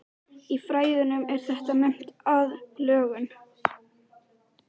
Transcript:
Í fræðunum er þetta nefnt aðlögun.